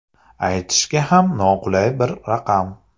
Aytishga ham noqulay bir raqam.